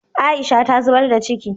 Aisha ta zubar da ciki